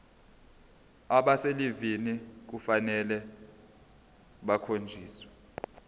abaselivini kufanele bakhonjiswe